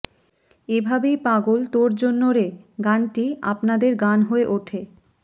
এভাবেই পাগল তোর জন্য রে গানটি আপনাদের গান হয়ে ওঠে